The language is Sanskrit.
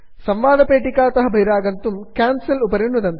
संवादपेटिकातः बहिरागन्तुं कैन्सेल उपरि नुदन्तु